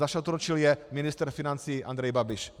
Zašantročil je ministr financí Andrej Babiš.